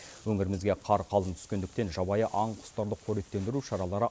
өңірімізге қар қалың түскендіктен жабайы аң құстарды қоректендіру шаралары